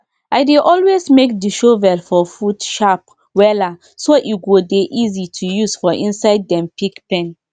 i dey always make the shovel for food sharp wella so e go dey easy to use for inside dem pig pen